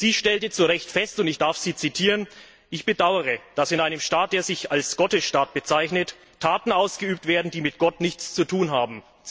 Sie stellte zu Recht fest, und ich darf sie zitieren Ich bedauere, dass in einem Staat, der sich als Gottesstaat bezeichnet, Taten ausgeübt werden, die mit Gott nichts zu tun haben.